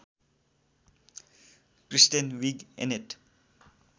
Kristen Wiig‍ Annette